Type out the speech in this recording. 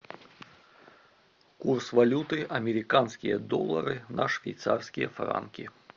курс валюты американские доллары на швейцарские франки